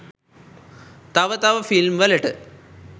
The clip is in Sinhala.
තව තව ‍ෆිල්ම් වලට.